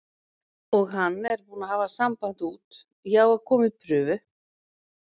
Og hann er búinn að hafa samband út, ég á að koma í prufu.